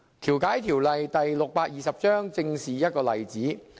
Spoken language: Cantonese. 《調解條例》正是一個例子。